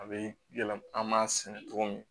A bɛ yɛlɛma an b'a sɛnɛ togo min na